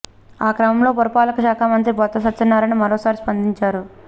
ఆ క్రమంలో పురపాలక శాఖ మంత్రి బొత్స సత్యనారాయణ మరోసారి స్పందించారు